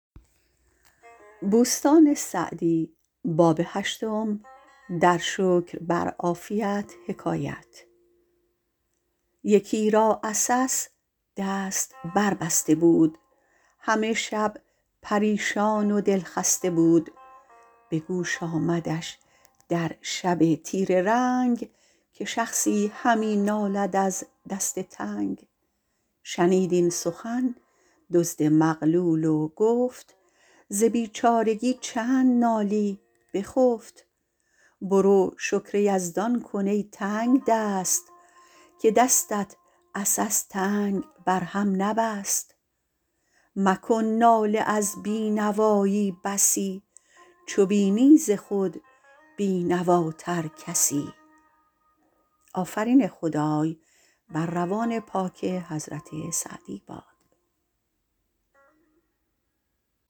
یکی را عسس دست بر بسته بود همه شب پریشان و دلخسته بود به گوش آمدش در شب تیره رنگ که شخصی همی نالد از دست تنگ شنید این سخن دزد مغلول و گفت ز بیچارگی چند نالی بخفت برو شکر یزدان کن ای تنگدست که دستت عسس تنگ بر هم نبست مکن ناله از بینوایی بسی چو بینی ز خود بینواتر کسی